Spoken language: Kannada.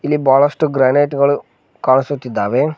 ಈ ಬಾಳಷ್ಟು ಗ್ರಾನೈಟ್ ಗಳು ಕಾಣಿಸುತ್ತಿದ್ದಾವೆ.